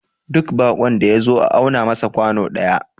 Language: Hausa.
duk bakon da ya zo a auna masa kwano daya